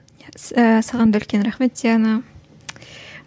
ііі саған да үлкен рахмет диана